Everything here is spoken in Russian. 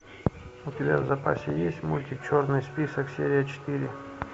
у тебя в запасе есть мультик черный список серия четыре